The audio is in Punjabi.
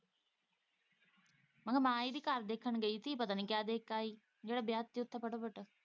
ਮੈਂ ਕਿਹਾ ਮਾਂ ਇਹਦੀ ਘਰ ਦੇਖਣ ਗਈ ਸੀ ਪਤਾ ਨੀ ਕਿਆ ਦੇਖ ਕੇ ਆਈ ਜਿਹੜਾ ਵਿਆਹ ਕਰ ਤਾਂ ਫਟਾਫਟ।